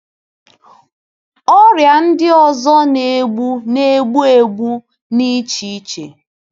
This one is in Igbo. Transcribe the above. Ọrịa ndị ọzọ na-egbu na-egbu egbu n'echiche.